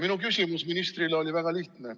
Minu küsimus ministrile oli väga lihtne.